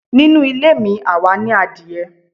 Nínù ilé mí, awá ní àdiẹ